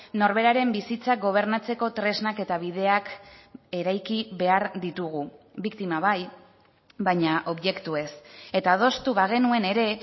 norberaren bizitza gobernatzeko tresnak eta bideak eraiki behar ditugu biktima bai baina objektu ez eta adostu bagenuen ere